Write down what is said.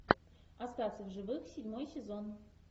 остаться в живых седьмой сезон